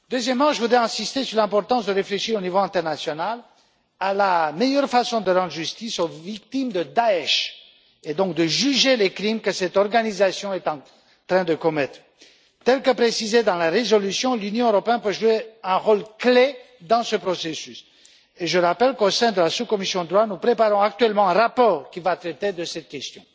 Deuxièmement, j'insiste sur l'importance de réfléchir au niveau international, à la meilleure façon de rendre justice aux victimes de Daech et donc de juger les crimes que cette organisation est en train de commettre. Comme le précise la résolution, l'Union européenne peut jouer un rôle clé dans ce processus je rappelle qu'au sein de la sous commission DROI, nous préparons actuellement un rapport qui va traiter de cette question.